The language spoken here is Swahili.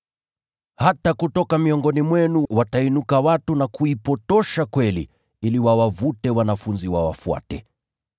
Hata kutoka miongoni mwenu watainuka watu na kuupotosha ukweli ili wawavute wanafunzi wawafuate.